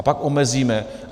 A pak omezíme.